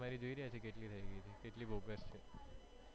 કેટલી થઇ ગયી તી કેટલી બોગસ છે.